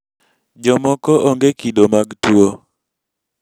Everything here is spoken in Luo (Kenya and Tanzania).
jomoko onge kido mag tuwo